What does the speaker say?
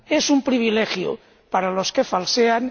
es un privilegio para los que falsean